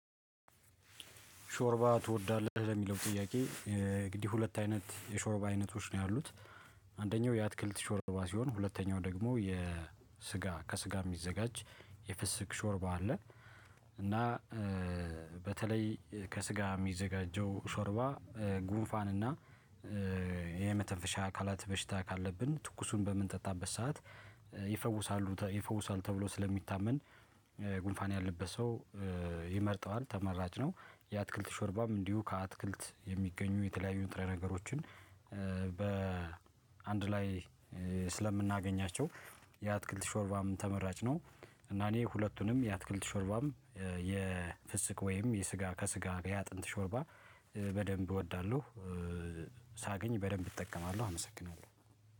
ሾርባ ትወዳለህ ለሚለው ጥያቄ እ እንግዲህ ሁለት አይነት የሾርባ አይነቶች ነው ያሉት። አንደኛው የአትክልት ሾርባ ሲሆን ሁለተኛው ደግሞ የስጋ ከስጋ የሚዘጋጅ የፍስክ ሾርባ አለ። እና እእ በተለይ እ ከስጋ የሚዘጋጀው ሾርባ። ጉንፋን እና እ የመተንፈሻ አካላት በሽታ ካለብን ትኩሱን በምንጠጣበት ሰዓት እ ይፈውሳሉ ይፈውሳሉ ተብሎ ስለሚታመን። ጉንፋን ያለበት እ ሰው ይመርጠዋል ተመራጭ ነው። የአትክልት ሾርባም እንዲሁ ከአትክልት የሚገኙ የተለያዩ ጥሬ ነገሮችን እ በአንድ ላይ ስለምናገኛቸው እ የአትክልት ሾርባም ተመራጭ ነው። እና እኔ ሁለቱንም የአትክልት ሾርባም እ የፍስክ ወይም የስጋ ከስጋ የአጥንት ሾርባ እ በደንብ እወዳለሁ። ሳገኝ በደንብ እጠቀማለሁ። አመሰግናለሁ